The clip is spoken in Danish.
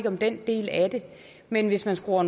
om den del af det men hvis man skruer